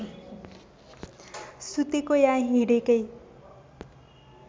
सुतेको या हिँडेकै